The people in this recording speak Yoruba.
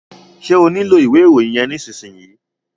Ṣé o nílò ìwé ìròyìn yẹn nísìsiyìí?